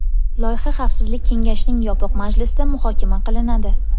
Loyiha Xavfsizlik kengashining yopiq majlisida muhokama qilinadi.